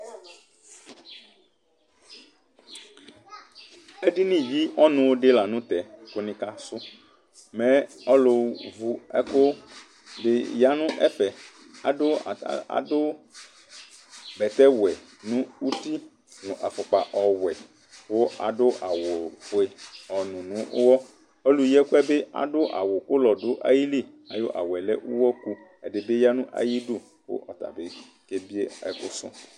Edinì yi ɔnu si la nu tɛ ku ni ka sù, mɛ̃ alu vu ɛku di ya nu ɛfɛ, adu bɛtɛ wɛ nu uti nu afukpa wɛ ku adu awu ofue ɔnú n'uwɔ, ɔlu yi ɛkuɛ bi adu awù ùlɔ du ayili, ayi awùɛ lɛ uwɔku , ɛdi bi ya nu ayidù ku ata bi ɔka ebie ɛkuɛ sù